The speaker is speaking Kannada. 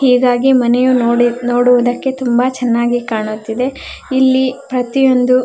ಹೀಗಾಗಿ ಮನೆಯು ನೋಡಿ ನೋಡುವುದಕ್ಕೆ ತುಂಬಾ ಚನ್ನಾಗಿ ಕಾಣುತ್ತಿದೆ ಇಲ್ಲಿ ಪ್ರತಿಯೊಂದು --